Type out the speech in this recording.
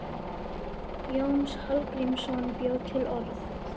Jónas Hallgrímsson bjó til orð.